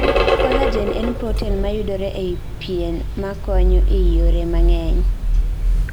Collagen en protein mayudore ei pien makonyo ei yore mang'eny